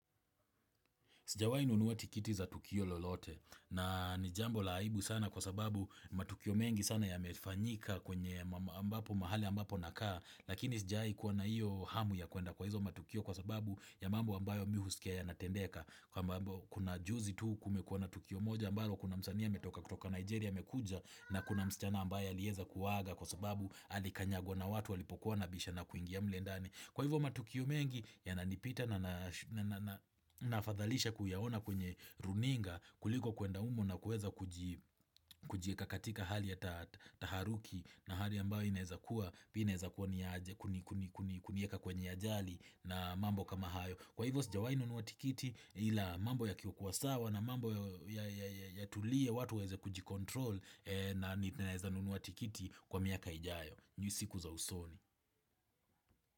Sijawai nunua tikiti za Tukio lolote na ni jambo la aibu sana kwa sababu matukio mengi sana yamefanyika kwenye ambapo mahali ambapo nakaa lakini sijawaikuwa na iyo hamu ya kuenda kwa hizo matukio kwa sababu ya mambo ambayo mimi husikia yanatendeka ambapo kuna juzi tu kumekuwa na Tukio moja ambalo kuna msanii ametoka kutoka Nigeria amekuja na kuna msichana ambayo alieza kuaga kwa sababu alikanyagwa na watu walipokuwanabishana kuingia mle ndani. Kwa hivyo matukio mengi yananipita na nafadhalisha kuyaona kwenye runinga kuliko kuenda hum na kuweza kujieka katika hali ya taharuki na hali ambayo inaeza kuwa, kunieka kwenye ajali na mambo kama hayo. Kwa hivyo sijawai nunua tikiti ila mambo yakikua sawa na mambo yatulie watu waeze kujicontrol na naeza nunua tikiti kwa miaka ijayo. Ni siku za usoni.